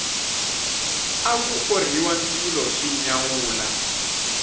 aku orhiwa ndzilo swi nyawula